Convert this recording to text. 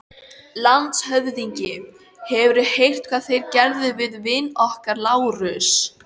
LANDSHÖFÐINGI: Hefurðu heyrt hvað þeir gerðu við vin okkar, Lárus?